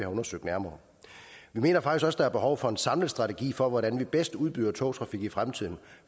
undersøgt nærmere vi mener faktisk også der er behov for en samlet strategi for hvordan man bedst udbyder togtrafik i fremtiden